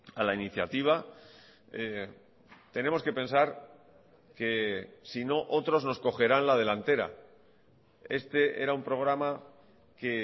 a la iniciativa tenemos que pensar que si no otros nos cogerán la delantera este era un programa que